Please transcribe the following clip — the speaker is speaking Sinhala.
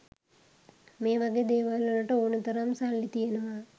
මේ වගේ දේවල් වලට ඕනේ තරම් සල්ලි තියෙනවා.